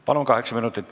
Kokku kaheksa minutit.